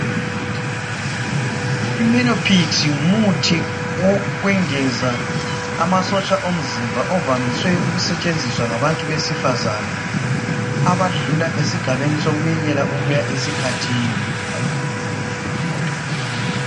Imenophix ngumuthi wokwengeza amasotsha omzimba ovamiswe ukusetshenziswa ngabesifazana abadlula esigabeni sokwekela ukuya esikhathini.